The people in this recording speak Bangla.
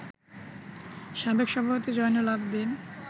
সাবেক সভাপতি জয়নুল আবেদীন